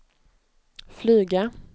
flyga